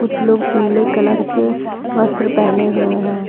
कुछ लोग पीले कलर के वस्त्र पहने हुए हैं।